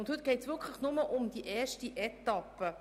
Heute geht es wirklich nur um die erste Etappe.